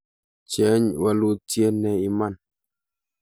cheny wolutie ne iman